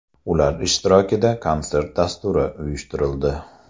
Ular ishtirokida konsert dasturi uyushtirildi.